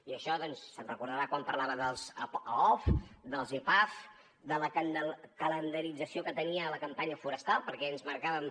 i d’això doncs se’n deu recordar quan parlava dels aof dels epaf de la calendarització que tenia la campanya forestal perquè ens marcàvem